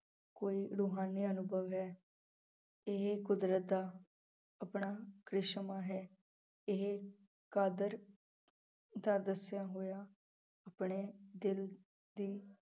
ਕੋਈ ਰੁਹਾਨੀ ਅਨੁਭਵ ਹੈ ਇਹ ਕੁਦਰਤ ਦਾ ਆਪਣਾ ਕ੍ਰਿਸ਼ਮਾ ਹੈ ਇਹ ਕਾਦਰ ਦਾ ਦੱਸਿਆ ਹੋਇਆ ਆਪਣੇ ਦਿਲ ਦੀ